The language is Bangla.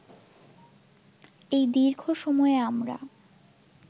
এই দীর্ঘ সময়ে আমরা